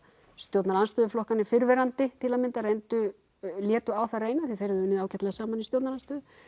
stjórnarandstöðu flokkarnir fyrrverandi til að mynda reyndu eða létu á það reyna því þeir hafa unnið ágætlega saman í stjórnarandstöðu